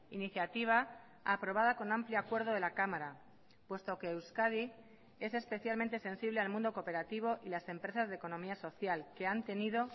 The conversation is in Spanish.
iniciativa aprobada con amplio acuerdo de la cámara puesto que euskadi es especialmente sensible al mundo cooperativo y las empresas de economía social que han tenido